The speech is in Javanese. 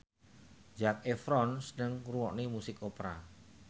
Zac Efron seneng ngrungokne musik opera